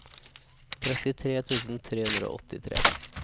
trettitre tusen tre hundre og åttitre